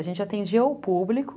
A gente atendia o público...